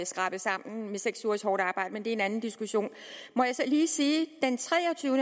skrabet sammen gennem seks ugers hårdt arbejde men det er en anden diskussion må jeg så lige sige